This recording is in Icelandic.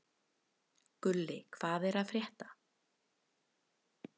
Gulli, hvað er að frétta?